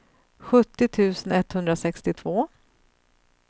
sjuttio tusen etthundrasextiotvå